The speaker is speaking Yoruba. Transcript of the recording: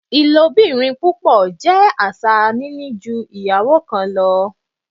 Ilobirin pupọ jẹ aṣa nini nini ju iyawo kan lọ